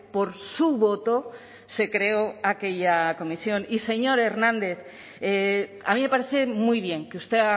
por su voto se creó aquella comisión y señor hernández a mí me parece muy bien que usted